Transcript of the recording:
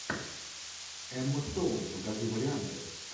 эмма стоун покажи варианты